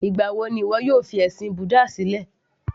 Ìgbà wo ni ìwọ yóò fi ẹ̀sìn búdà sílẹ̀